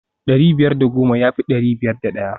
dari biyar da goma ya fi dari biyar da daya